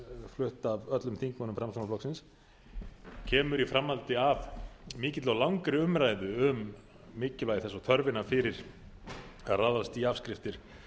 flutt af öllum þingmönnum framsóknarflokksins kemur í framhaldi af mikilli og langri umræðu um mikilvægi þess og þörfina fyrir að ráðast í afskriftir